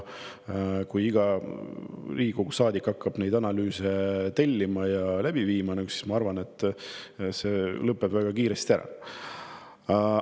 Kui iga Riigikogu saadik hakkaks neid analüüse tellima ja läbi viima, siis, ma arvan, lõpeks see väga kiiresti ära.